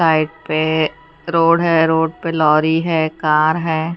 Side पे road हैं road पे लॉरी हैं कार हैं।